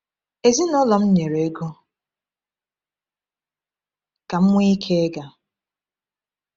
Ezinụlọ m nyere ego ka m nwee ike ịga.